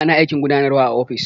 Ana aikin gudanarwa a ofis.